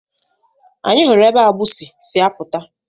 Anyị hụrụ ebe agbụsị si apụta.